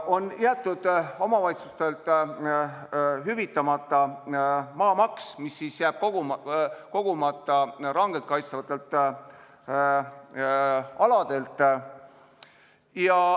... on jäetud omavalitsustele hüvitamata maamaks, mis jääb kogumata rangelt kaitstavatelt aladelt.